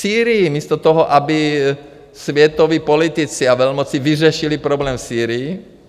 Sýrii místo toho, aby světoví politici a velmoci vyřešili problém v Sýrii.